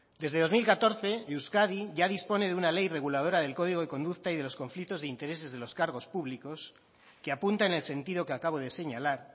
desde dos mil catorce euskadi ya dispone de una ley reguladora del código de conducta y de los conflictos de intereses de los cargos públicos que apunta en el sentido que acabo de señalar